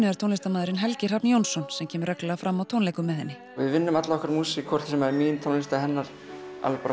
er tónlistarmaðurinn Helgi Hrafn Jónsson sem kemur reglulega fram á tónleikum með henni við vinnum alla okkar músík hvort sem það er mín tónlist eða hennar alveg bara